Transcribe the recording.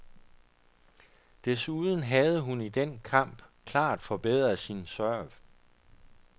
Desuden havde hun i den kamp klart forbedret sin serv.